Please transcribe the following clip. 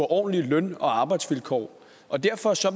ordentlige løn og arbejdsvilkår derfor